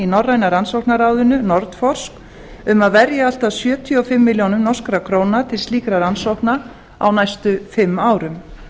norræna rannsóknarráðinu nordforsk um að verja allt að sjötíu og fimm milljónir norskar krónur til slíkra rannsókna á næstu fimm árum